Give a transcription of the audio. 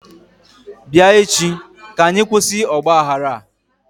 bia echi ka anyi kwusi ogbaghara a!